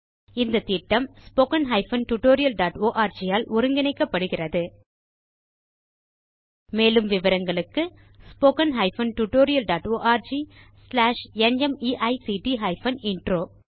இந்த திட்டம் httpspoken tutorialorg ஆல் ஒருங்கிணைக்கப்படுகிறது மேலும் விவரங்களுக்கு spoken hyphen tutorial dot org slash நிமைக்ட் ஹைபன் இன்ட்ரோ